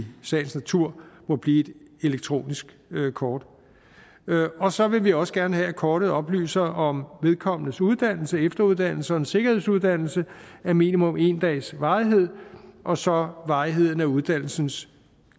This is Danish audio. sagens natur må blive et elektronisk kort og så vil vi også gerne have at kortet oplyser om vedkommendes uddannelse efteruddannelse en sikkerhedsuddannelse af minimum en dags varighed og så varigheden af uddannelsens